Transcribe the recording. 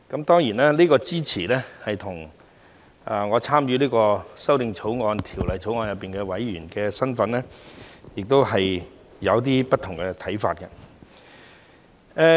當然，這支持與我所參與的法案委員會委員身份亦有一些不同的看法。